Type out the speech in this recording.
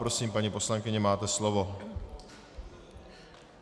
Prosím, paní poslankyně, máte slovo.